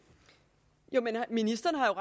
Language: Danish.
jeg med